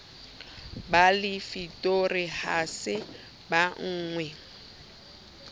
ba lefitori ha se bonwe